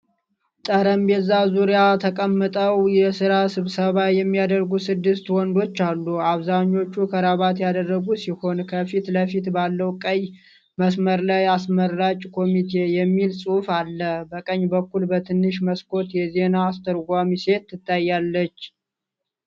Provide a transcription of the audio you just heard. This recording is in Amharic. ጠረጴዛ ዙሪያ ተቀምጠው የሥራ ስብሰባ የሚያደርጉ ስድስት ወንዶች አሉ። አብዛኞቹ ክራቫት ያደረጉ ሲሆን፣ ከፊት ለፊት ባለው ቀይ መስመር ላይ "አስመራጭ ኮሚቴ" የሚል ጽሑፍ አለ። በቀኝ በኩል በትንሽ መስኮት የዜና አስተርጓሚ ሴት ትታያለች።